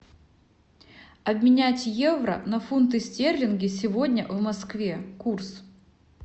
обменять евро на фунты стерлинги сегодня в москве курс